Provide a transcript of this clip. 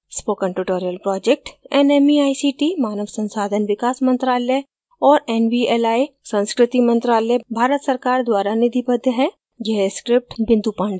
spoken tutorial project nmeict मानव संसाधन विकास मंत्रायल और nvli संस्कृति मंत्रालय भारत सरकार द्वारा निधिबद्ध है